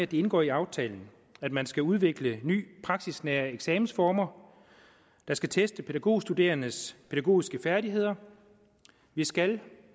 det indgår i aftalen at man skal udvikle nye praksisnære eksamensformer der skal teste pædagogstuderendes pædagogiske færdigheder vi skal